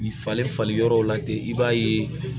Falen fali yɔrɔ la ten i b'a ye